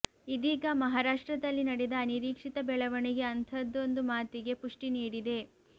ಇದೀಗ ಮಹಾರಾಷ್ಟ್ರದಲ್ಲಿ ನಡೆದ ಅನಿರೀಕ್ಷಿತ ಬೆಳವಣಿಗೆ ಅಂಥದೊಂದು ಮಾತಿಗೆ ಪುಷ್ಠಿ ನೀಡಿದೆ